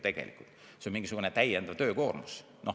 See on ju täiendav töökoormus.